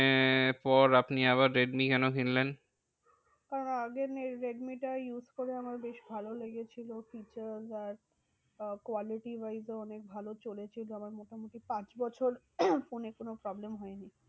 পর আপনি আবার রেডমি কেন কিনলেন? কারণ আগের রেডমিটা use করে আমার বেশ ভালো লেগেছিলো। features আর quality wise ও অনেক ভালো চলেছিল আমার মোটামুটি পাঁচ বছর ফোনে কোনো problem হয়নি।